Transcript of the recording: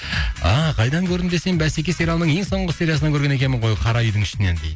ааа қайдан көрдім десем бәсеке сериалының ең соңғы сериясынан көрген екенмін ғой қара үйдің ішінен дейді